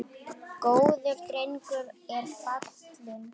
Góður drengur er fallinn frá.